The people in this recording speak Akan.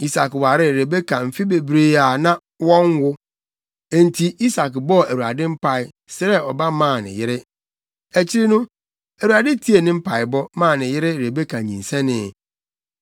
Isak waree Rebeka mfe bebree a na wɔnwo. Enti Isak bɔɔ Awurade mpae, srɛɛ ɔba maa ne yere. Akyiri no, Awurade tiee ne mpaebɔ, maa ne yere Rebeka nyinsɛnee.